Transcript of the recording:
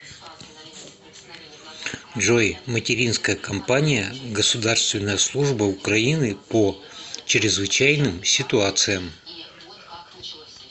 джой материнская компания государственная служба украины по чрезвычайным ситуациям